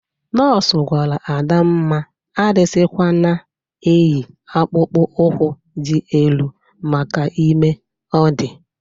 Nọs gwara Adamma adịzịkwana eyi akpụkpọ ụkwụ dị elu maka ime ọ dị.